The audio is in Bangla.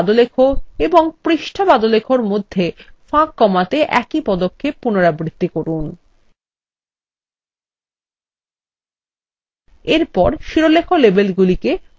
এখন প্রতিবেদন পাদলেখ এবং পৃষ্ঠা পাদলেখএর মধ্যে ফাঁক কমাতে একই পদক্ষেপ পুনরাবৃত্তি করুন